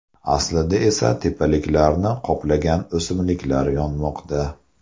Aslida esa tepaliklarni qoplagan o‘simliklar yonmoqda.